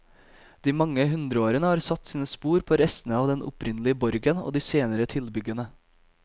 De mange hundreårene har satt sine spor på restene av den opprinnelige borgen og de senere tilbyggene.